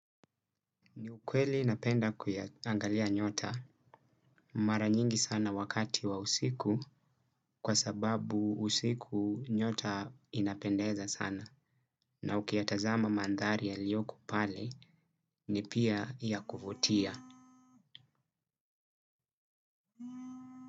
Ni ukweli napenda kuyaangalia nyota mara nyingi sana wakati wa usiku kwa sababu usiku nyota inapendeza sana na ukiyatazama mandhari yaliyoko pale ni pia ya kuvutia.